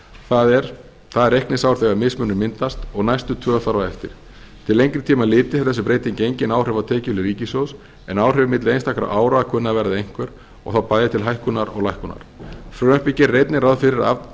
það er það reikningsár þegar mismunur myndast og næstu tvö þar á eftir til lengra tíma litið hefur þessi breyting engin áhrif á tekjuhlið ríkissjóðs en áhrif milli einstakra ára kunna að verða einhver og þá bæði til hækkunar og lækkunar frumvarpið gerir einnig ráð fyrir að